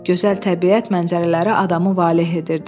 Gözəl təbiət mənzərələri adamı valeh edirdi.